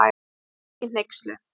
En hún var ekki hneyksluð.